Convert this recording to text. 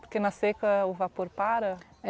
Porque na seca o vapor para?